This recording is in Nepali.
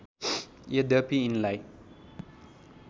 यद्यपि यिनलाई